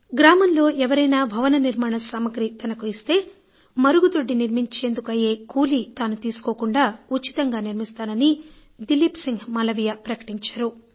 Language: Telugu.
గ్రామంలో ఎవరైనా భవన నిర్మాణ సామాగ్రి తనకు ఇస్తే మరుగుదొడ్డి నిర్మించేందుకు అయ్యే కూలీ తాను తీసుకోకుండా ఉచితంగా నిర్మిస్తానని దిలీప్ సిన్హ్ మాలవీయ ప్రకటించారు